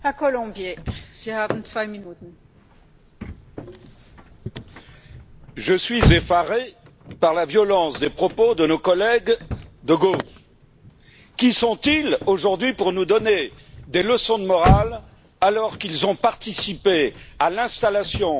Madame la Présidente, je suis effaré par la violence des propos de nos collègues de gauche. Qui sont ils aujourd'hui pour nous donner des leçons de morale, alors qu'ils ont participé à l'installation d'une d'immigration